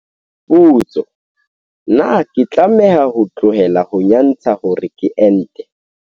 Potso, Na ke tlameha ho tlohela ho nyantsha hore ke ente?